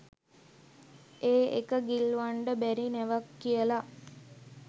ඒ ඒක ගිල්ලවන්ඩ බැරි නැවක් කියලා